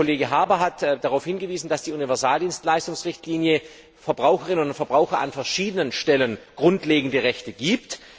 Der Kollege Habour hat darauf hingewiesen, dass die Universaldienstleistungsrichtlinie Verbrauchern und Verbraucherinnen an verschiedenen Stellen grundlegende Rechte gibt.